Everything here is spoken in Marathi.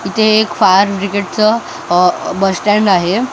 इथे एक फायर बिग्रेड चं अह बस स्टँड आहे.